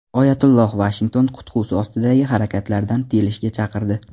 Oyatulloh Vashington qutqusi ostidagi harakatlardan tiyilishga chaqirdi.